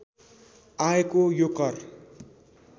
आएको यो कर